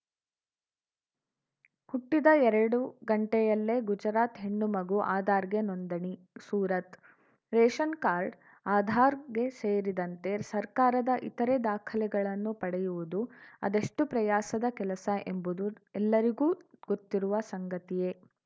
ಹುಟ್ಟಿದ ಎರಡುಗಂಟೆಯಲ್ಲೇ ಗುಜರಾತ್‌ ಹೆಣ್ಣು ಮಗು ಆಧಾರ್‌ಗೆ ನೋಂದಣಿ ಸೂರತ್‌ ರೇಷನ್‌ ಕಾರ್ಡ್‌ ಆಧಾರ್‌ಗೆ ಸೇರಿದಂತೆ ಸರ್ಕಾರದ ಇತರೆ ದಾಖಲೆಗಳನ್ನು ಪಡೆಯುವುದು ಅದೆಷ್ಟುಪ್ರಯಾಸದ ಕೆಲಸ ಎಂಬುದು ಎಲ್ಲರಿಗೂ ಗೊತ್ತಿರುವ ಸಂಗತಿಯೇ